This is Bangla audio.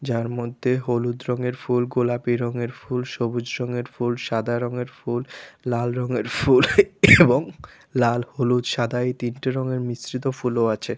যার মধ্যে হলুদ রঙের ফুল গোলাপি রঙের ফুল সবুজ রঙের ফুল সাদা রংয়ের ফুল লাল রঙের ফুল এবং লাল হলুদ সাদা এই তিনটি রঙের মিশ্রিত ফুলও আছে।